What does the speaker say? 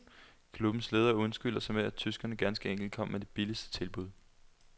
Klubbens ledere undskylder sig med, at tyskerne ganske enkelt kom med det billigste tilbud.